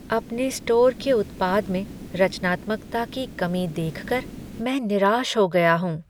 अपने स्टोर के उत्पाद में रचनात्मकता की कमी देख कर मैं निराश हो गया हूँ।